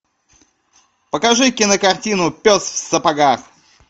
покажи кинокартину пес в сапогах